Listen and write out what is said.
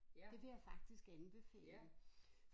Det vil jeg faktisk anbefale